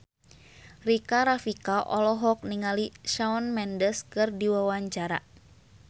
Rika Rafika olohok ningali Shawn Mendes keur diwawancara